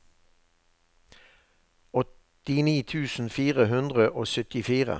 åttini tusen fire hundre og syttifire